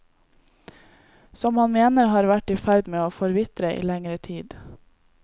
Som han mener har vært i ferd med å forvitre i lengre tid.